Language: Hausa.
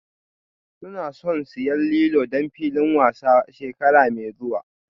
Suna son siyan lilo don filin wasan shekara mai zuwa